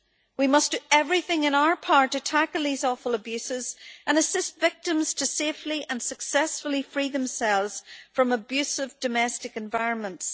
We must do everything in our power to tackle these awful abuses and assist victims to safely and successfully free themselves from abusive domestic environments.